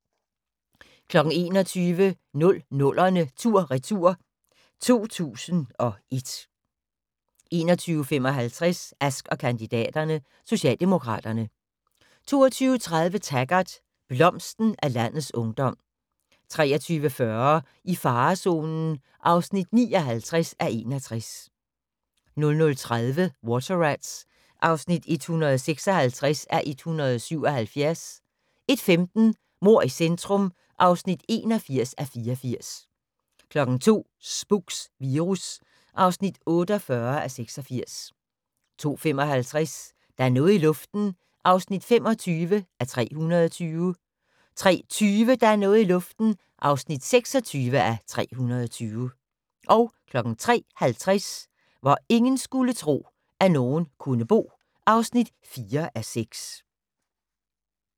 21:00: 00'erne tur/retur: 2001 21:55: Ask & kandidaterne: Socialdemokraterne 22:30: Taggart: Blomsten af landets ungdom 23:40: I farezonen (59:61) 00:30: Water Rats (156:177) 01:15: Mord i centrum (81:84) 02:00: Spooks: Virus (48:86) 02:55: Der er noget i luften (25:320) 03:20: Der er noget i luften (26:320) 03:50: Hvor ingen skulle tro, at nogen kunne bo (4:6)